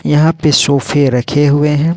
यहां पे सोफे रखे हुए हैं।